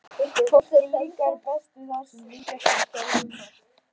Fólki líkar best við þá sem líkjast þeim sjálfum mest.